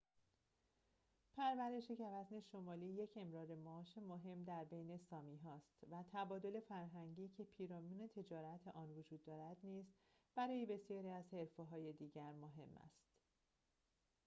پرورش گوزن شمالی یک امرار معاش مهم در بین سامی‌ها است و تبادل فرهنگی که پیرامون تجارت آن وجود دارد نیز برای بسیاری از حرفه‌های دیگر مهم است